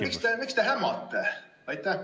Miks te hämate?